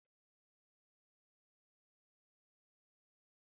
Mazauna ƙauye suna taruwa, gatari suna ƙara, don share ƙasa don sabuwar cibiyar al'umma.